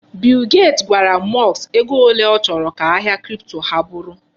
Bill gate gwara Musk ego ole ọ chọrọ ka ahịa kripto ha bụrụ.